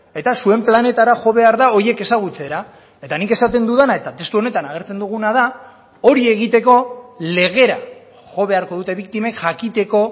eta zuen planetara jo behar da horiek ezagutzera eta nik esaten dudana eta testu honetan agertzen duguna da hori egiteko legera jo beharko dute biktimek jakiteko